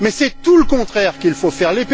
Mais c'est tout le contraire qu'il faut faire.